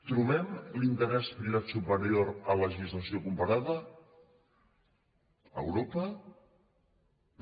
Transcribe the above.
trobem l’interès privat superior a la legislació comparada a europa no